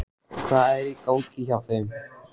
Hvað er í gangi hjá þeim?